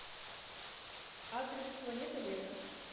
адрес планета лета